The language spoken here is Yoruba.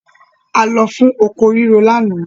A lọ fún oko rírò lánàá.